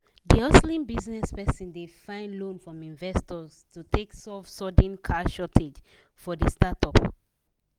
d hustling business person dey find loan from investors to take solve sudden cash shortage for the startup.